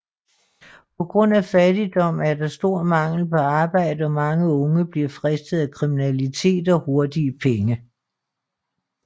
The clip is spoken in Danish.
På grund af fattigdom er der stor mangel på arbejde og mange unge bliver fristet af kriminalitet og hurtige penge